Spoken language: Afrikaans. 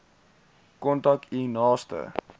kontak u naaste